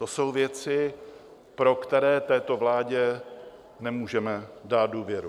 To jsou věci, pro které této vládě nemůžeme dát důvěru.